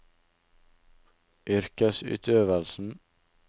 yrkesutøvelsen